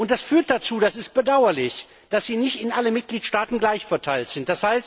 Das führt dazu das ist bedauerlich dass sie nicht in allen Mitgliedstaaten gleich verteilt sind.